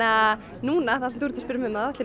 núna þegar þú ert að spyrja mig þá ætla ég